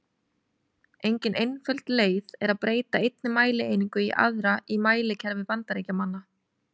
Engin einföld leið er að breyta einni mælieiningu í aðra í mælikerfi Bandaríkjamanna.